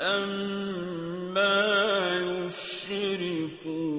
أَمَّا يُشْرِكُونَ